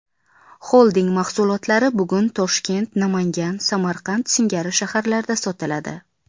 Xolding mahsulotlari bugun Toshkent, Namangan, Samarqand singari shaharlarda sotiladi.